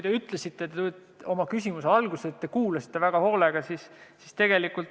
Te ütlesite oma küsimuse alguses, et olete väga hoolega kuulanud.